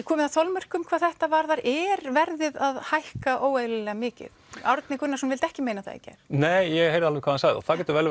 komið að þolmörkum hvað þetta varðar er verðið að hækka óeðlilega mikið Árni Gunnarsson vildi ekki meina það í gær nei ég heyrði alveg hvað hann sagði og það getur vel